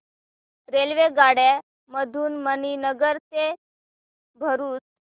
रेल्वेगाड्यां मधून मणीनगर ते भरुच